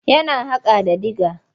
Yana haƙa da dIga.